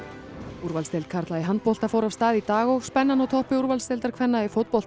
úrvalsdeild karla í handbolta fór af stað í dag og spennan á toppi úrvalsdeildar kvenna í fótbolta